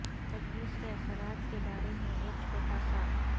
تجویز کے اثرات کے بارے میں ایک چھوٹا سا